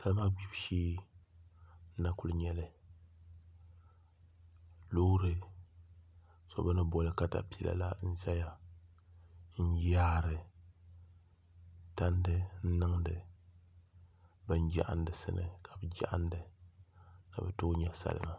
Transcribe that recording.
Salima gbibu shee n na kuli nyɛli loori so bi ni boli katapila la n ʒɛya n yaari tandi n niŋdi bin jaɣandi sini ka bi jaɣanda ni bi tooi nyɛ salima